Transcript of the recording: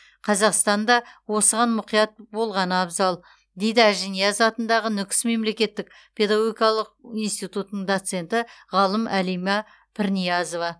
қазақстан да осыған мұқият болғаны абзал дейді ажинияз атындағы нүкіс мемлекеттік педагогикалық институтының доценті ғалым алима пірниязова